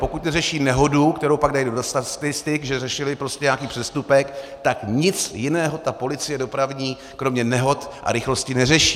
Pokud neřeší nehodu, kterou pak dají do statistik, že řešili prostě nějaký přestupek, tak nic jiného ta policie dopravní kromě nehod a rychlosti neřeší.